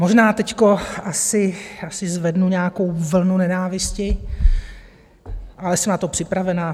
Možná teď asi zvednu nějakou vlnu nenávisti, ale jsem na to připravena.